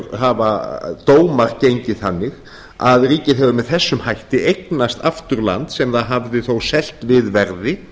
hafa dómar gengið þannig að ríkið hefur með þessum hætti eignast aftur land sem það hafði þó selt við verði